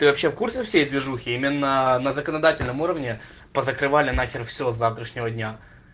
ты вообще в курсе всей движух именно на законодательном уровне позакрывали нахер все с завтрашнего дня